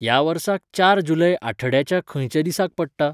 ह्या वर्साक चार जुलै आठड्याच्या खंयच्या दिसाक पडटा?